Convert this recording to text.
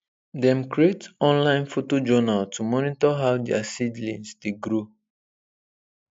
dem create online photo journal to monitor how their seedlings dey grow